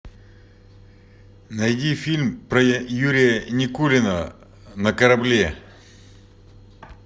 найди фильм про юрия никулина на корабле